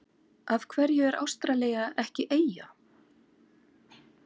Af hverju er Ástralía ekki eyja?